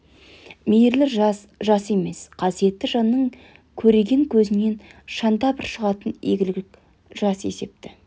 мейірлі жас жас емес қасиетті жанның көреген көзінен шанда бір шығатын игілік жас есепті